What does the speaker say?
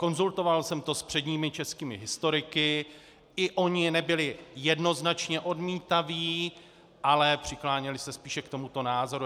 Konzultoval jsem to s předními českými historiky, i oni nebyli jednoznačně odmítaví, ale přikláněli se spíše k tomuto názoru.